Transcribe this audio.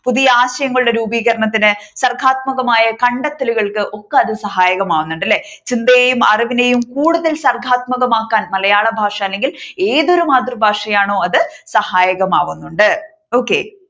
പുതിയ ആശയങ്ങളുടെ രൂപീകരണത്തിന് സർഗാത്മകതമായ കണ്ടെത്തലുകൾക്ക് ഒക്കെ അത് സഹായകമാകുന്നുണ്ട് അല്ലേ. ചിന്തയും അറിവിനെയും കൂടുതൽ സർഗാത്മകമാക്കാൻ മലയാളഭാഷ അല്ലെങ്കിൽ ഏതൊരു മാതൃഭാഷയാണോ അത് സഹായകമാകുന്നുണ്ട് okay.